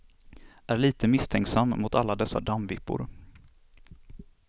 Är lite misstänksam mot alla dessa dammvippor.